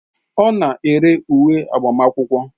Ọ na-ere uwe agbamakwụkwọ